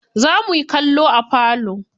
Za muyi kallo a falo.